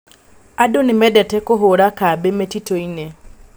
Andũ nĩ mendete kũhũra kambĩ mĩtitũ-inĩ.